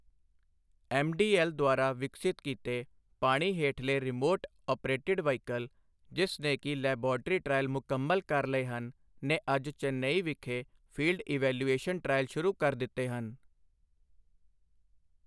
MDL ਦੁਆਰਾ ਵਿਕਸਿਤ ਕੀਤੇ ਪਾਣੀ ਹੇਠਲੇ ਰਿਮੋਟ ਆਪ੍ਰੇਟਿਡ ਵ੍ਹੀਕਲ, ਜਿਸ ਨੇ ਕਿ ਲੈਬਾਰਟਰੀ ਟ੍ਰਾਇਲ ਮੁਕੰਮਲ ਕਰ ਲਏ ਹਨ, ਨੇ ਅੱਜ ਚੇਨਈ ਵਿਖੇ ਫੀਲਡ ਇਵੈਲੂਯੇਸ਼ਨ ਟ੍ਰਾਇਲ ਸ਼ੁਰੂ ਕਰ ਦਿੱਤੇ ਹਨ।